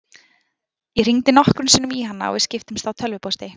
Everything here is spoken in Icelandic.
Ég hringdi nokkrum sinnum í hana og við skiptumst á tölvupósti.